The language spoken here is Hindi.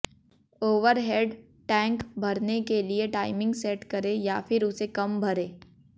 ओवरहेड टैंक भरने के लिए टाइमिंग सेट करें या फिर उसे कम भरें